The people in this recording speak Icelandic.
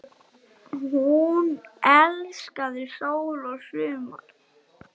Hún elskaði sól og sumar.